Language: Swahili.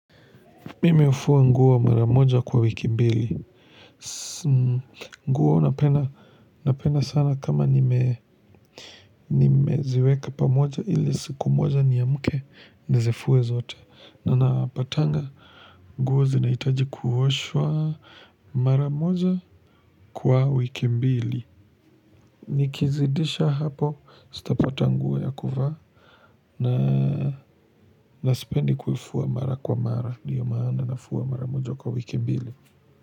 Mimi hufua nguo mara moja kwa wiki mbili. Nguo napenda sana kama nimeziweka pamoja ili siku moja niamke nizifue zote. Na napatanga nguo zinahitaji kuoshwa mara moja kwa wiki mbili. Nikizidisha hapo sitapata nguo ya kuvaa na sipendi kufua mara kwa mara. Ndio maana nafua mara moja kwa wiki mbili.